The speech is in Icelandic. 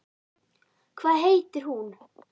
Hvað heitir hún?